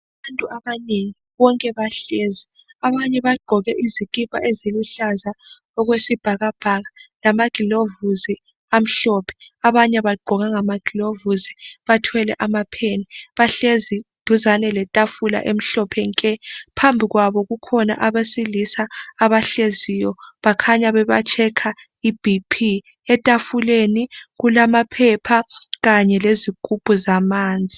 Abantu abanengi, bonke bahlezi. Abanye bagqoke izikipa eziluhlaza okwesibhakabhaka lamagilovisi amhlophe, abanye abagqokanga amagilovisi, bathwele amapheni, bahlezi duzane letafula emhlophe nke. Phambi kwabo kukhona abesilisa abahleziyo, bakhanya bebatshekha i BP. Etafuleni kulamaphepha kanye lezigubhu zamanzi